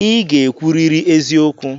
I ga-ekwuriri eziokwu!